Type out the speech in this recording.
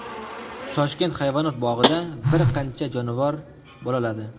Toshkent hayvonot bog‘ida bir qancha jonivor bolaladi.